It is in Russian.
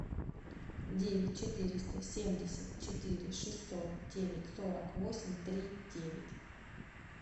девять четыреста семьдесят четыре шестьсот девять сорок восемь три девять